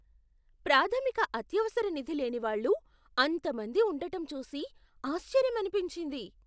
ప్రాథమిక అత్యవసర నిధి లేని వాళ్ళు అంతమంది ఉండటం చూసి ఆశ్చర్యమనిపించింది.